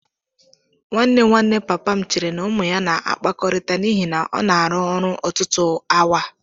Nwanne nwanne papa m chere na ụmụ ya na-akpakọrịta n'ihi na ọ na-arụ ọrụ ọtụtụ awa.